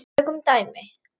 Tökum dæmi